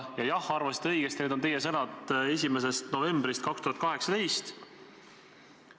Ning jah, arvasite õigesti, need on teie sõnad, lausutud 1. novembril 2018.